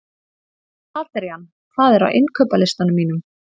Adrían, hvað er á innkaupalistanum mínum?